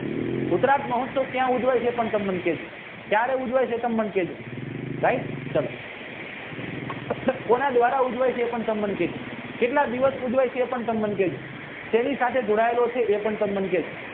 ઉકરત મહૉવસાવ ક્યાં ઉજવ્યા છે એ તમે મને કહેજો ક્યારે ઉજવાય કહે તમે મને કેજો right ચાલો કોના દ્વારા ઉજવાય છે એ પણ તમે કેજો કેટલા દિવસ ઉજવાય છે એ પણ તમે મને કેજો સેની સાથે જોડાયેલો છે એ પણ તમે મને કેજો